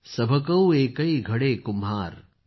सभ कौ एकै घडै़ कुम्हार